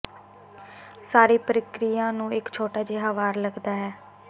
ਸਾਰੀ ਪ੍ਰਕਿਰਿਆ ਨੂੰ ਇੱਕ ਛੋਟਾ ਜਿਹਾ ਵਾਰ ਲੱਗਦਾ ਹੈ